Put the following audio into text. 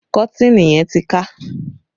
Kọ́tìnì yẹn ti ya